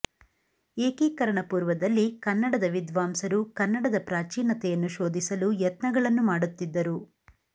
ಏಕೀಕರಣ ಪೂರ್ವದಲ್ಲಿ ಕನ್ನಡದ ವಿದ್ವಾಂಸರು ಕನ್ನಡದ ಪ್ರಾಚೀನತೆಯನ್ನು ಶೋಧಿಸಲು ಯತ್ನಗಳನ್ನು ಮಾಡುತ್ತಿದ್ದರು